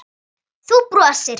Þú brosir.